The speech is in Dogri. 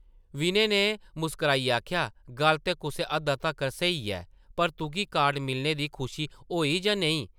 विनय नै मुस्कराइयै आखेआ, ‘‘गल्ल ते कुसै हद्दा तक्कर स्हेई ऐ पर तुगी कार्ड मिलने दी खुशी होई जां नेईं?’’